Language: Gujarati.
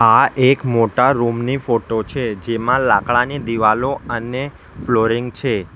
આ એક મોટા રૂમ ની ફોટો છે જેમાં લાકડાની દિવાલો અને ફ્લોરિંગ છે.